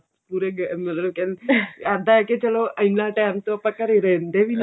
ਉਰੇ ਮਤਲਬ ਕਿਹੰਦੇ ਕੀ ਚਲੋ ਇੰਨਾ time ਤੋਂ ਆਪਾਂ ਘਰ ਘਰੇ ਰਹਿੰਦੇ ਵੀ ਨੀ